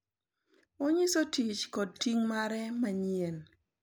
Onyiso tich kod ting’ mare manyien.